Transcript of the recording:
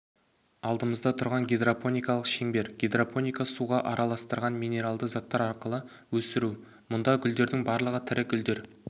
алдымызда тұрған гидропоникалық шеңбер гидропоника суға араластырған минералды заттар арқылы өсіру мына гүлдердің барлығы тірі гүлдер